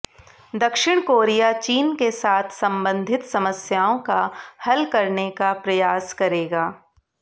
दक्षिण कोरिया चीन के साथ संबंधित समस्याओं का हल करने का प्रयास करेगा